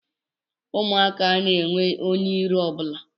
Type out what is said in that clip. Ụmụaka anaghị enwe onye iro ọ bụla